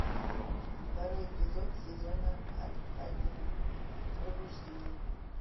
второй эпизод сезона один пробуждение